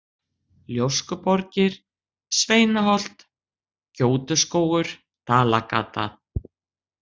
Ljóskuborgir, Sveinaholt, Gjótuskógur, Dalgata